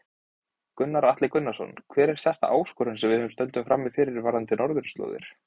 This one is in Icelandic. Gunnar Atli Gunnarsson: Hver er stærsta áskorunin sem við stöndum frammi fyrir varðandi Norðurslóðir?